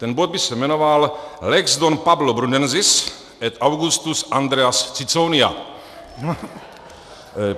Ten bod by se jmenoval "Lex Don Pablo Brunensis et Augustus Andreas Ciconia."